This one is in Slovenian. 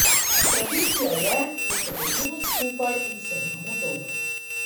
Tradicija je, da se dobimo skupaj in se imamo dobro.